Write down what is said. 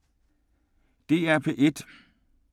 DR P1